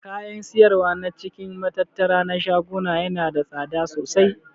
Kayan siyarwa na cikin matattara na shaguna yana da tsada sosai.